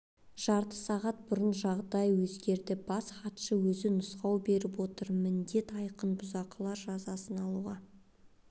жарты сағат бұрынғыдан жағдай өзгерді бас хатшы өзі нұсқау беріп отыр міндет айқын бұзақылар жазасын алуға